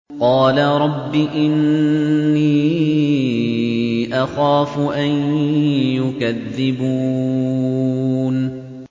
قَالَ رَبِّ إِنِّي أَخَافُ أَن يُكَذِّبُونِ